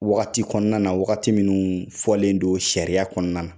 Wagati kɔnɔna na wagati minnu fɔlen do sariya kɔnɔna na